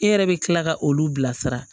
E yɛrɛ bɛ kila ka olu bilasira